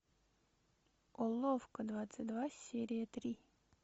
уловка двадцать два серия три